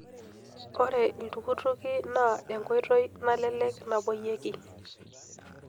Ore iltukutuki naa enkoitoi nalelek napoyieki.